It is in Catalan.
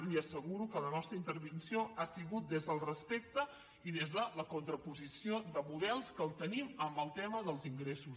li asseguro que la nostra intervenció ha sigut des del respecte i des de la contraposició de models que els tenim amb el tema dels ingressos